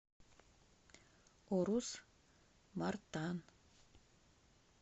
урус мартан